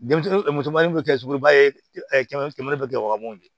Denmisɛnnin musomannin bɛ kɛ suguba ye kɛmɛ bɛ gɛrɛ wagabɔ ni